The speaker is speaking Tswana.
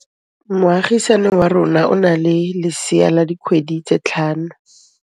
Moagisane wa rona o na le lesea la dikgwedi tse tlhano.